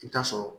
I bi taa sɔrɔ